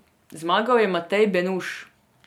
Zmagal je Matej Benuš.